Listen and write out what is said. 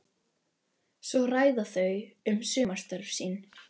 Svo ræða þau um sumarstörf sín.